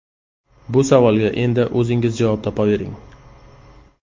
Bu savolga endi o‘zingiz javob topavering.